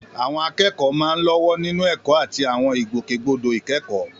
Àwọn akẹ́kọ̀ọ́ máa ń lọ́wọ́ nínú ẹ̀kọ́ àti àwọn ìgbòkègbodò ìkẹ́kọ̀ọ́.